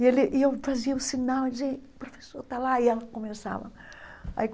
E ele e eu fazia o sinal e dizia, o professor está lá, e ela começava aí.